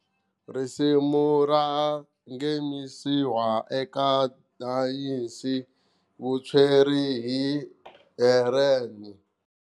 Risimu ra nghenisiwa eka Dance vutsweri hi Heeran.